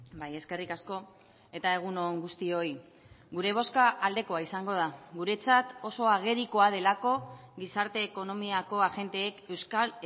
bai eskerrik asko eta egun on guztioi gure bozka aldekoa izango da guretzat oso agerikoa delako gizarte ekonomiako agenteek euskal